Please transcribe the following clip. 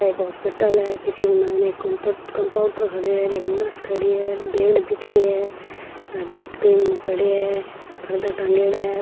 एक हॉस्पिटल है जीके माइने एक कंप्यू कम्पाउंटर खड़ये है और एक नर्स खड़ी है बेड दिख रे है डस्टबिन पड़ये है पर्दा टाँगेड़ा है।